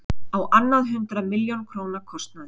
Á annað hundrað milljóna króna kostnaður